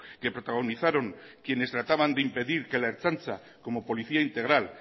que protagonizaron quienes trataban de impedir que la ertzaintza como policía integral